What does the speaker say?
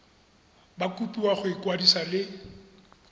ba kopiwa go ikwadisa le